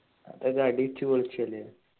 അതൊക്കെ അടിച്ചു പൊളിച്ച അല്ലെ